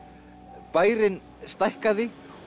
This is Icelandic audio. bærinn stækkaði og